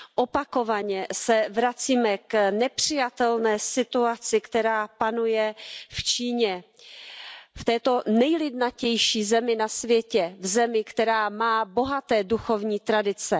Opakovaně se vracíme k nepřijatelné situaci, která panuje v Číně, v této nejlidnatější zemi na světě, v zemi, která má bohaté duchovní tradice.